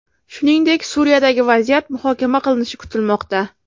Shuningdek, Suriyadagi vaziyat muhokama qilinishi kutilmoqda.